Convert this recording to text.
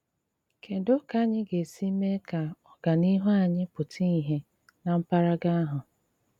Kédú kà ányị́ gà-ésí méé kà ọ́gáníhù ányị́ pụ́tà ìhé ná m̀pàràgà áhụ́?